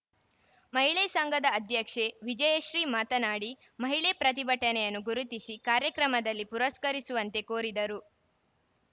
ಮಹಿಳೆ ಸಂಘದ ಅಧ್ಯಕ್ಷೆ ವಿಜಯಶ್ರೀ ಮಾತನಾಡಿಮಹಿಳೆ ಪ್ರತಿಭೆಯನ್ನು ಗುರುತಿಸಿ ಕಾರ್ಯಕ್ರಮದಲ್ಲಿ ಪುರಸ್ಕರಿಸುವಂತೆ ಕೋರಿದರು